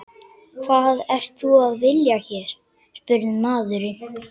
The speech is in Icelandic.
Hvað ert þú að vilja hér? spurði maðurinn.